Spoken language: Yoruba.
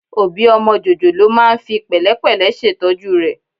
Òbí ọmọ jòjòló máa ń fi pẹ̀lẹ́pẹ̀lẹ́ ṣètọ́jú rẹ̀